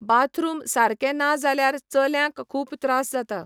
Bathroom सारके ना जाल्यार चल्यांक खूब त्रास जाता.